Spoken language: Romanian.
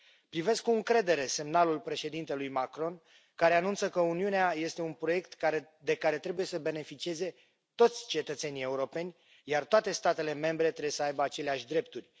Privesc cu încredere semnalul președintelui Macron, care anunță că Uniunea este un proiect de care trebuie să beneficieze toți cetățenii europeni, iar toate statele membre trebuie să aibă aceleași drepturi.